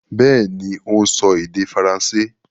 Bẹ́ẹ̀ni, ó ń sọ èdè faransé.